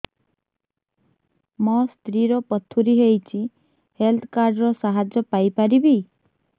ମୋ ସ୍ତ୍ରୀ ର ପଥୁରୀ ହେଇଚି ହେଲ୍ଥ କାର୍ଡ ର ସାହାଯ୍ୟ ପାଇପାରିବି